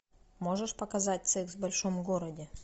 можешь показать секс в большом городе